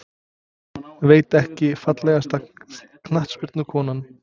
Veit ekki Fallegasta knattspyrnukonan?